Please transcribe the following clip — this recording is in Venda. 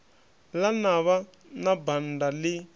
ḽa navha na banda ḽi